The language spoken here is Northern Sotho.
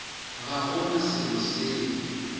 ga go na selo seo